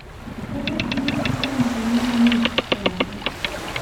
Prve štiri cifre ne pomenijo nič, so rekli.